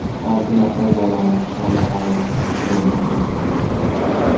Olti nafar bolaning ahvoli og‘ir deya baholanmoqda.